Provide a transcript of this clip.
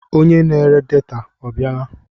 Onye na-ere data abịala?